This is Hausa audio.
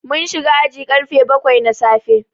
Mun shiga aji karfe bakwai na safe.